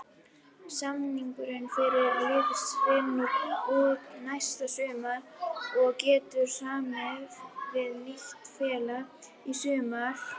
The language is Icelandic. Samningur fyrirliðans rennur út næsta sumar og getur samið við nýtt félag í sumar.